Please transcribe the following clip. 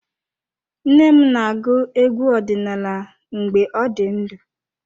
Nne m na-agụ egwu ọdinala mgbe ọ dị ndụ.